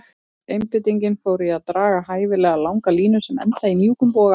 Öll einbeitingin fór í að draga hæfilega langa línu sem endaði í mjúkum boga.